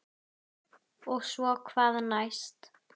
Og svo hvað næst?